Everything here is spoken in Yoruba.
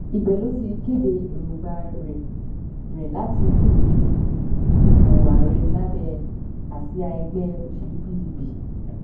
ibẹ ló ti kéde èròǹgbà rẹ rẹ láti díje dupò ààrẹ lábẹ àsíá ẹgbẹ òṣèlú pdp